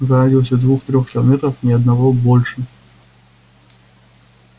в радиусе двух-трёх километров ни одного больше